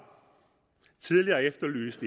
tidligere efterlyst